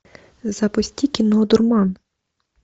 запусти кино дурман